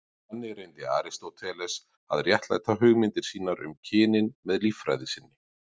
Þannig reyndi Aristóteles að réttlæta hugmyndir sínar um kynin með líffræði sinni.